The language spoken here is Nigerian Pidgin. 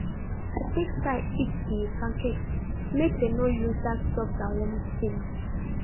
i take style heat the pancakes make dem no lose that soft and warm feel